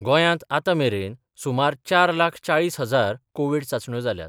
गोंयांत आतांमेरेन सुमार चार लाख चाळीस हजार कोव्हीड चाचण्यो जाल्यात.